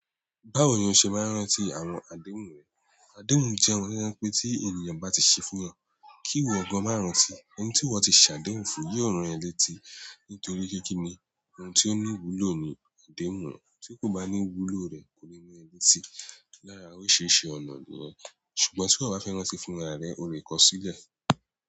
Báwo ni ó ṣe máa ń rántí àwọn àdéhùn rẹ̀? Àdéhùn jẹ́ ohun to je pé tí ènìyàn bá ti ṣe fún ẹeyan, kí ìwọ gan má rántí i. Òun tí iwo ti ṣàdéhùn fún yóò rán ẹ létí nítorí pe kí ni, ohun tí ó ní wúlò ni àdéhùn rẹ̀. Tí kò bá ní wúlò rẹ̀ kò ní ran ẹ létí. Lára órisirisi ọ̀nà niyen, ṣùgbọ́n tí iwó bá fẹ́ rántí fún ra re, ó lè kọ sílẹ̀.